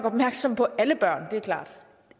opmærksomme på alle børn det er klart